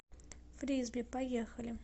фрисби поехали